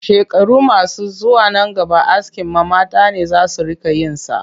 Shekaru masu zuwa nan gaba askin ma mata ne za su riƙa yin sa